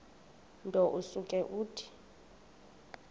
nto usuke uthi